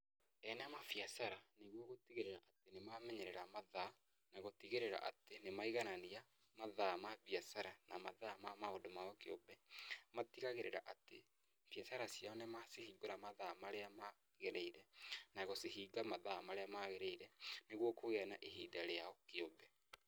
Ene mabiacara nĩguo gũtigĩrĩra nĩmamenyerera mathaa na gũtigĩrĩra atĩ nĩ maiganania mathaa ma mbiacara na mathaa ma maũndũ mao kĩũmbe, matigagĩrĩra atĩ, mbiacara ciao nĩmacihingũra mathaa marĩa magĩrĩire na gũcihinga mathaa marĩa magĩrĩire, nĩguo kũgĩa na ihinda rĩao kĩũmbe.